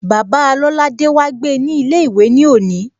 Bàbáa Lolade wá gbe ní ilé ìwé ní òní